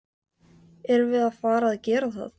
Erum við að fara að gera það?